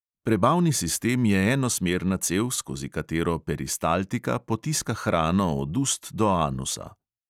Prebavni sistem je enosmerna cev, skozi katero peristaltika potiska hrano od ust do anusa.